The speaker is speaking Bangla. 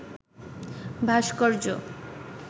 ভাস্কর্য